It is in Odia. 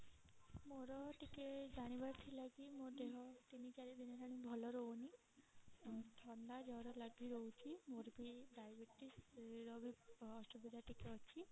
ମୋର ଟିକେ ଜାଣିବାର ଥିଲା କି ମୋ ଦେହ ତିନି ଚାରି ଦିନ ହେଲାଣି ଭଲ ରହୁନି ଥଣ୍ଡା ଜର ଲାଗି ରହୁଛି ମୋର ବି diabetes ର ବି ଅସୁବିଧା ଟିକେ ଅଛି